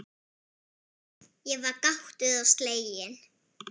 Ég var gáttuð og slegin.